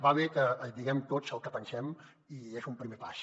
va bé que diguem tots el que pensem i és un primer pas